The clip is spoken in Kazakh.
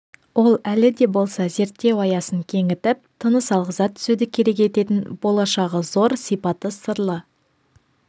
ол әлі де болса зерттеу аясын кеңітіп тыныс алғыза түсуді керек ететін болашағы зор сипаты сырлы